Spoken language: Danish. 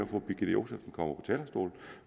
fru birgitte josefsen kommer